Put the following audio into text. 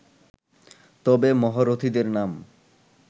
তবে মহারথীদের নাম